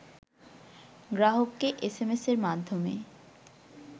গ্রাহককে এসএমএস-এর মাধ্যমে